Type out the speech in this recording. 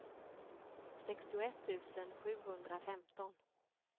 sextioett tusen sjuhundrafemton